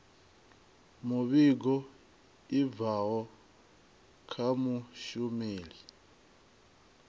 muvhigo i bvaho kha mushumeli